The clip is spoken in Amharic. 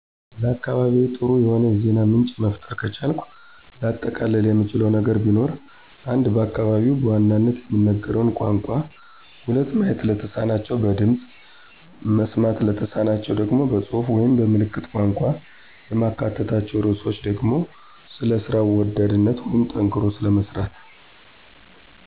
ለአካባቢዬ ጥሩ የሆነ የዜና ምንጭ መፍጠር ከቻልኩ ላጠቃልል የምችለው ነገር ቢኖር:- 1. በአካባቢው በዋናነት የሚነገረውን ቋንቋ 2. ማየት ለተማናቸው በድምፅ፣ መስማት ለተሳናቸው ደግሞ በፅሁፍ ወይም በ ምልክት ቋንቋ። የማካትታቸው ርዕሶች ደግሞ ስለ ስራ ወዳድነት ወይም ጠንክሮ ስለ መስራት።